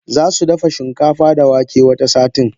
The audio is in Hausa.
Zasu dafa shinkafa da wake wata satin.